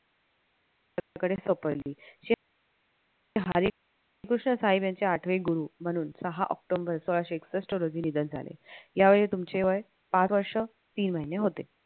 यांच्याकडे सोपवली हरिकृष्ण राय यांचे आठवे गुरु म्हणून सहा ऑक्टोबर सोळाशे एकसष्ट रोजी निधन झाले यावेळी त्यांची वय पाच वर्ष तीन महिने एवढे होते